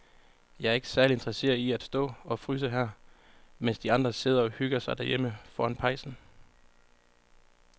Jeg er ikke særlig interesseret i at stå og fryse her, mens de andre sidder og hygger sig derhjemme foran pejsen.